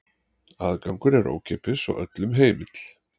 Aðgangur er ókeypis og öllum heimill.